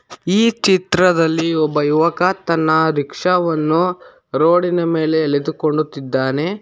ಈ ಚಿತ್ರದಲ್ಲಿ ಒಬ್ಬ ಯುವಕ ತನ್ನ ರಿಕ್ಷಾವನ್ನು ರೋಡಿನ ಮೇಲೆ ಎಲೆದುಕೊಂಡುತಿದಾನೆ.